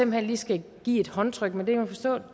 hen lige skal give et håndtryk men det kan man forstå